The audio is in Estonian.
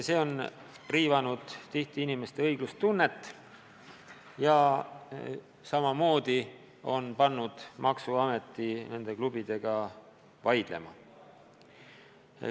See on tihti riivanud inimeste õiglustunnet ja pannud maksuameti klubidega vaidlema.